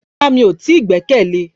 Rárá mi o ti gbẹ́kẹ̀lé